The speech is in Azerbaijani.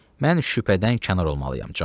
Mən şübhədən kənar olmalıyam, Con.